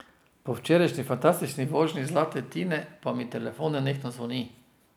Po včerajšnji fantastični vožnji zlate Tine pa mi telefon nenehno zvoni.